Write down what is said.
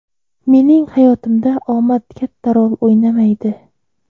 Mening hayotimda omad katta rol o‘ynamaydi.